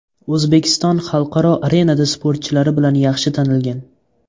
O‘zbekiston xalqaro arenada sportchilari bilan yaxshi tanilgan.